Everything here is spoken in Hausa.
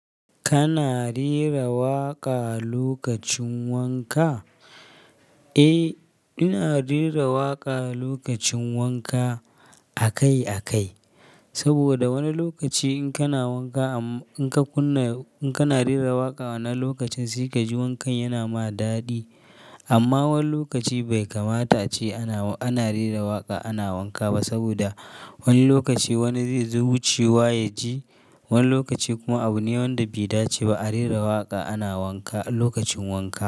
Kana rera waƙa lokacin wanka? Eh, ina rera waƙa lokacin wanka akai-akai. Saboda wani lokaci in kana wanka amma in ka kunna, in kana rera waƙa wannan lokacin sai ka ji wankan yana ma daɗi. Amma wani lokaci bai kamata ace ana, ana rera waƙa ana wanka ba. Saboda wani lokaci wani zai zo wucewa ya ji. Wani lokaci kuma abu ne wanda bai dace ba a rera waƙa ana wanka lokacin wanka.